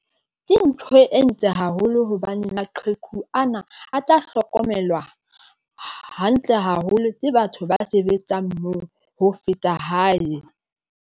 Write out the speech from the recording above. Ke ntho e ntle haholo hobane maqheku ana a tla hlokomelwa hantle haholo ke batho ba sebetsang moo ho feta hae.